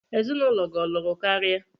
Ezinụlọ gị ọ lụrụ karịa?